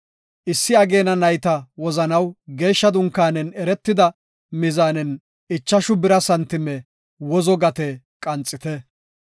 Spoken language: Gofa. Issi ageena nayta wozanaw geeshsha dunkaanen eretida mizaanen ichashu bira santime wozo gate qanxite.